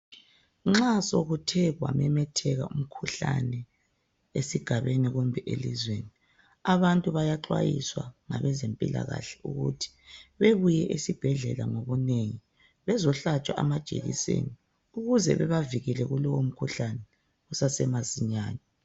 Nxa sokuthe kwamemetheka umkhuhlane esigabeni kumbe elizweni abantu bayaxwayiswa ngabezempilakahle ukuthi bebuye esibhedlela ngobunengi bezohlatshwa amajekiseni ukuze bebavikele kulowo mkhuhlane kusase masinyane.